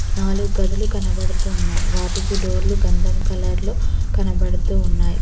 నాలుగు గదులు కనబడుతున్నాయ్ వాటికి డోర్లు గంధం కలర్లో కనబడుతూ ఉన్నాయి.